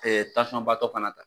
fana ta.